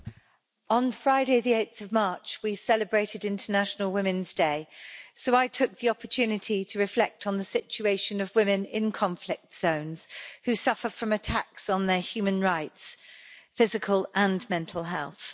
Mr President, on Friday 8 March, we celebrated International Women's Day, so I took the opportunity to reflect on the situation of women in conflict zones who suffer from attacks on their human rights and physical and mental health.